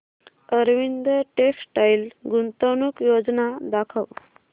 Arvind textile गुंतवणूक योजना दाखव